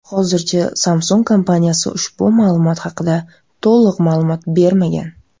Hozircha Samsung kompaniyasi ushbu muammo haqida to‘liq ma’lumot bermagan.